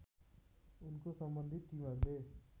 उनको सम्बन्धित टिमहरूले